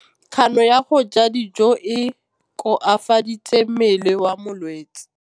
Kganô ya go ja dijo e koafaditse mmele wa molwetse.